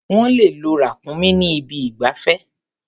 Wọ́n le lo ràkúnmí ní ibi ìgbafẹ́.